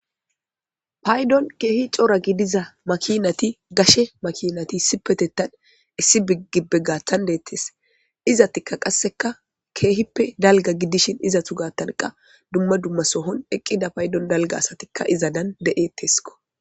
paydon keehi coora gidiza makinati gashe makinati sipetettan issi bigibbe gathan deettes izatikka qasseka keehippe dalga gidishin izatu gattanqa dumma dumma sohon eqqida paydon dalga asatikka iza dan be'ettesko